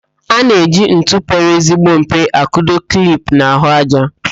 A na-eji ntu pere ezigbo mpe akụdo klip n'ahụájá.